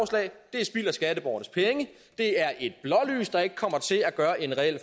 er spild af skatteborgernes penge det er et blålys der ikke kommer til at gøre en reel